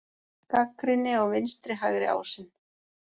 Gagnrýni á vinstri-hægri ásinn